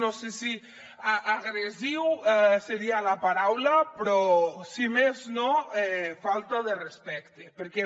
no sé si agressiu seria la paraula però si més no de falta de respecte perquè